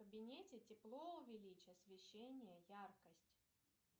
в кабинете тепло увеличь освещение яркость